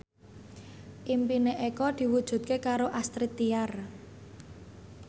impine Eko diwujudke karo Astrid Tiar